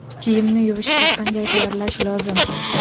Kiyimni yuvishga qanday tayyorlash lozim?